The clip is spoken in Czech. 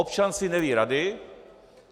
Občan si neví rady.